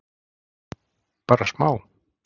Bara smá?